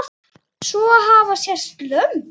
Svo hafa sést lömb.